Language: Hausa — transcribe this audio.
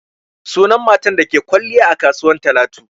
Sunan matar da ta ke kwalliya a kasuwa Talatu.